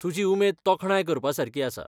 तुजी उमेद तोखणाय करपासारकी आसा.